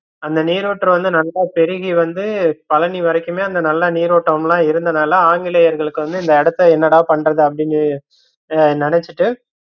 அந்த நீருற்று வந்து நல்லா பெருகி வந்து பழனி வரைக்குமே அந்த நல்ல நீரோற்றம் லா இருந்ததால ஆங்கிலேயர்களுக்கு வந்து இந்த இடத்த என்னடா பண்றதுன்னு அப்படின்னு அஹ் நினச்சுட்டு